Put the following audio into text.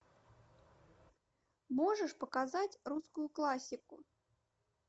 можешь показать русскую классику